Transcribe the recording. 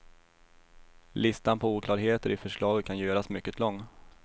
Listan på oklarheter i förslaget kan göras mycket lång.